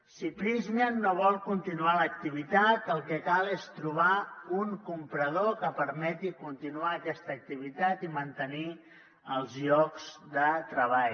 si prysmian no vol continuar l’activitat el que cal és trobar un comprador que permeti continuar aquesta activitat i mantenir els llocs de treball